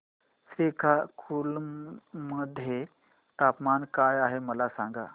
श्रीकाकुलम मध्ये तापमान काय आहे मला सांगा